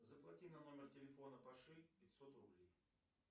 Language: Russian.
заплати на номер телефона паши пятьсот рублей